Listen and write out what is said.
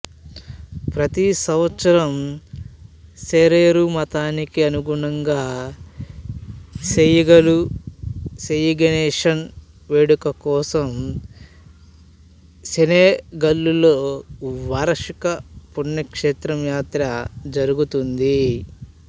ప్రతి సంవత్సరం సెరెరు మతానికి అనుగుణంగా సెయిగలు సెయిగెషను వేడుక కోసం సెనెగలులో వార్షిక పుణ్యక్షేత్రం యాత్ర జరుగుతుంది